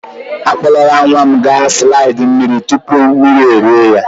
Akpọrọla nwa m gaa na slide mmiri tupu mmiri rie ya.